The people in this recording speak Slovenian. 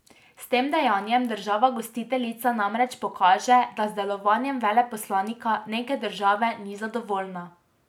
S tem dejanjem država gostiteljica namreč pokaže, da z delovanjem veleposlanika neke države ni zadovoljna.